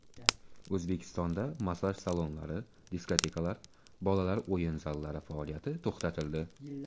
O‘zbekistonda massaj salonlari, diskotekalar, bolalar o‘yin zallari faoliyati to‘xtatildi.